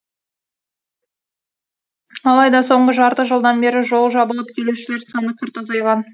алайда соңғы жарты жылдан бері жол жабылып келушілер саны күрт азайған